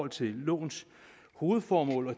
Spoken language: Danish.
til lovens hovedformål og